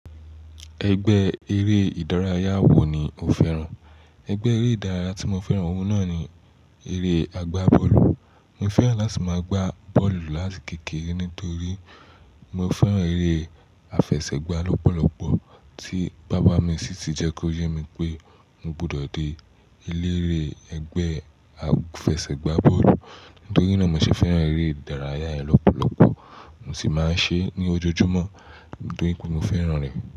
Ẹgbẹ́ eré ìdárayá wo ni o fẹ́ràn? Ẹgbẹ́ eré ìdárayá tí mo fẹ́ràn ohun náà ni eré agbá bọ́ọ̀lù. Mo fẹ́ràn láti máa gbá bọ́ọ̀lù láti kèkère nítorí mo fẹ́ràn eré àfẹsẹ̀gbá lọ́pọ̀lọ́pọ̀ tí bàbá mi sì ti jẹ́ kí ó yé mi pé mo gbọdọ̀ dé ilé eré ẹgbẹ́ àfẹsẹ̀gbá bọ́ọ̀lù. Nítorí náà mo sì fẹ́ràn eré ìdárayá yẹn lọ́pọ̀lọ́pọ̀ mo sì máa ń ṣe é ní ojoojúmọ́ nítorí pé mo fẹ́ràn rẹ̀.